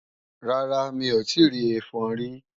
Rárá, mi ò tíì rí ẹfọn rí